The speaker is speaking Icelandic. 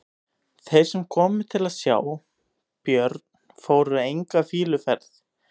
Þeir sem komu til að sjá Björn fóru enga fýluferð.